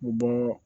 U bɔ